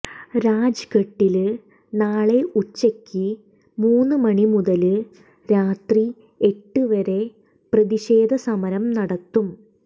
രാജ്ഘട്ടില് നാളെ ഉച്ചക്ക് മൂന്ന് മണി മുതല് രാത്രി എട്ട് വരെ പ്രതിഷേധ സമരം നടത്തും